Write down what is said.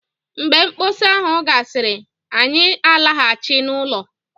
Mgbe mkpọsa ahụ gasịrị, anyị ga-alaghachi n'ụlọ